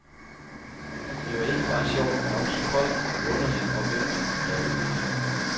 Det var ikke bare sjovt, men også koldt, underligt og væmmeligt derude.